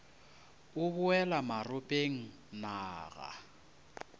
o boela maropeng na ga